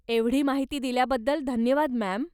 एवढी माहिती दिल्याबद्दल धन्यवाद, मॅम.